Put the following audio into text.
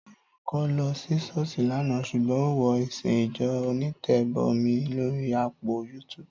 Táyọ̀ kọ̀ lọ sí ṣọ́ọ̀ṣì lánàá ṣùgbọ́n ó wo ìsìn ìjọ onítẹ̀bọmi lórí áàpù YouTube